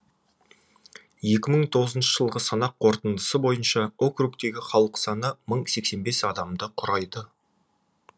екі мың тоғызыншы жылғы санақ қорытындысы бойынша округтегі халық саны мың сексен бес адамды құрайды